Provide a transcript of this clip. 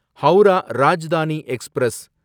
Howrah Rajdhani express